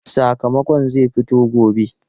Sakamakon zai fito gobe.